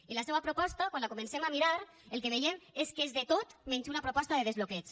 i la seua proposta quan la comencem a mirar el que veiem és que és de tot menys una proposta de desbloqueig